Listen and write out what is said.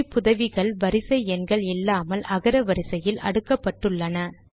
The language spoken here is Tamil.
குறிப்புதவிகள் வரிசை எண்கள் இல்லாமல் அகர வரிசையில் அடுக்கப்பட்டுள்ளன